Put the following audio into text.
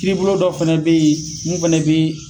Kiribolo dɔ fana bɛ yen , mun fana bɛ